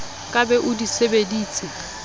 ka be o di sebeditse